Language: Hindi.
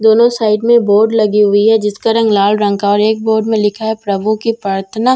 दोनों साइड में बोर्ड लगी हुई हैं जिसका रंग लाल रंग का है और एक बोर्ड में लिखा है प्रभु की प्रर्थना --